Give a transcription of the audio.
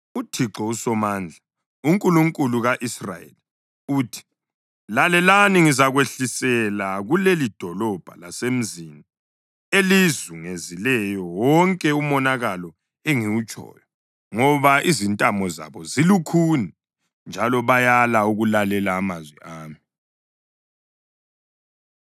“ UThixo uSomandla, uNkulunkulu ka-Israyeli, uthi: ‘Lalelani! Ngizakwehlisela kulelidolobho lasemizini elizungezileyo wonke umonakalo engawutshoyo, ngoba izintamo zabo zilukhuni njalo bayala ukulalela amazwi ami.’ ”